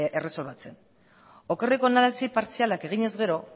erresolbitzen okerreko analisi partzialak eginez gero